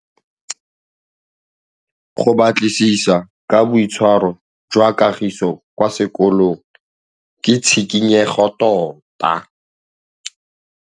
Go batlisisa ka boitshwaro jwa Kagiso kwa sekolong ke tshikinyêgô tota.